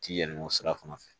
Ti yɛlɛmɔ sira fana fɛ